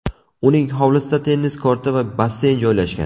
Uning hovlisida tennis korti va basseyn joylashgan.